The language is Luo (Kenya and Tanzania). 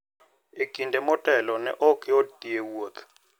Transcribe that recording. E kinde motelo, ne ok yot dhi e wuoth.